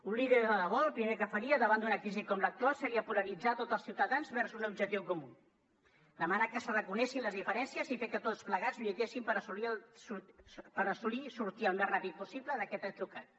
un líder de debò el primer que faria davant d’una crisi com l’actual seria polaritzar tots els ciutadans vers un objectiu comú demanar que s’arraconessin les diferències i fer que tots plegats lluitéssim per assolir i sortir al més ràpid possible d’aquest atzucac